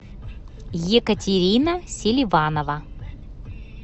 екатерина селиванова